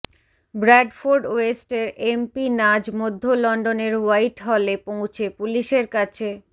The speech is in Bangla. ব্র্যাডফোর্ড ওয়েস্টের এমপি নাজ মধ্য লন্ডনের হোয়াইটহলে পৌঁছে পুলিশের কাছে